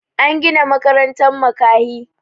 an Gina makarantan makahi